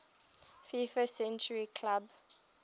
fifa century club